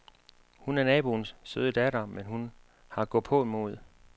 Hun er naboens søde datter, men hun har gåpåmod.